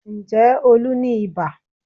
Ǹjẹ́ Olú ní ibà?